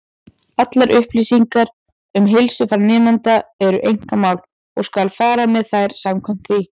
Allar upplýsingar um heilsufar nemenda eru einkamál, og skal fara með þær samkvæmt því.